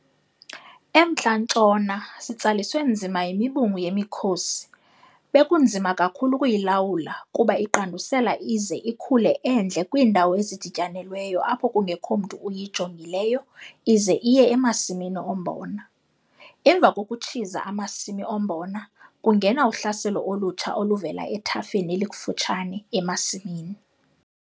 EMntla-Ntshona sitsaliswe nzima yimibungu yemiKhosi - bekunzima kakhulu ukuyilawula kuba iqandusela ize ikhule endle kwiindawo ezidityanelweyo apho kungekho mntu uyijongileyo ize iye emasimini ombona. Emva kokutshiza amasimi ombona, kungena uhlaselo olutsha oluvela ethafeni elikufutshane emasimini.